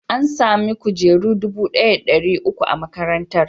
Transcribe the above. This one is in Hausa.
An sami kujeru dubu ɗaya da ɗari uku a makarantar.